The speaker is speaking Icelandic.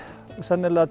sennilega